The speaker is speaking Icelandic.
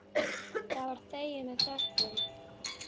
Það var þegið með þökkum.